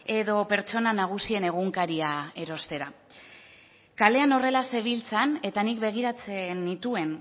edo pertsona nagusien egunkaria erostera kalean horrela zebiltzan eta nik begiratzen nituen